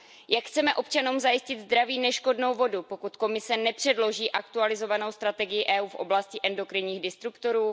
Jak chceme občanům zajistit zdraví neškodnou vodu, pokud Komise nepředloží aktualizovanou strategii EU v oblasti endokrinních disruptorů?